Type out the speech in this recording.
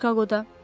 Çikaqoda.